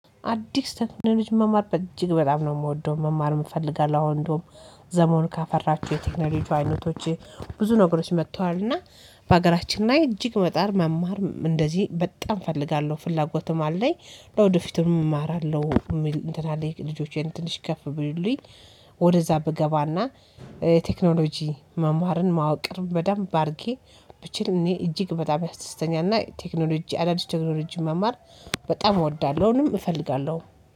አዲስ ቴክኖሎጂ መማር እጅግ በጣም ነው የምወደው መማርም እፈልጋለሁ። አሁን እንደውም ዘመኑ ካፈራቸው የቴክኖሎጂ አይነቶች ብዙ ነገሮች መጥተዋል። እና በሀገራችን ላይ እጅግ መጣር መማር እንደዚህ በጣም እፈልጋለሁ ፍላጎትም አለኝ። ወደፊትም እማራለሁ እንትን አለኝ ልጆቼን ትንሽ ከፍ ቢሉልኝ። ወደዛ ብገባና ቴክኖሎጂ መማርን ማወቅን በደንብ አድርጌ ብችል እኔ እጅግ በጣም ያስደስተኛል። እና ቴክኖሎጂ አዳዲስ ቴክኖሎጂ መማር በጣም እወዳለሁንም እፈልጋለሁ